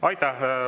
Aitäh!